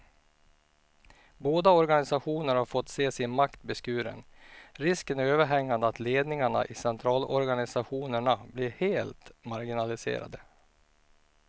Båda organisationerna har fått se sin makt beskuren, risken är överhängande att ledningarna i centralorganisationerna blir helt marginaliserade.